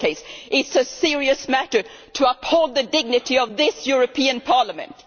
It is a serious matter to uphold the dignity of this European Parliament.